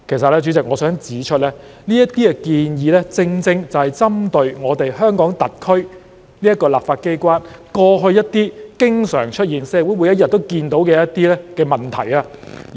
代理主席，我其實想指出，這些建議正正針對香港特區立法機關過去經常出現、社會每天都看到的一些問題。